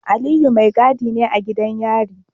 Aliyu mai gadi ne a gidan yari.